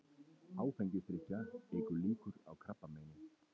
Áfengisdrykkja eykur líkur á krabbameini